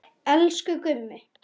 Elsku Gummi.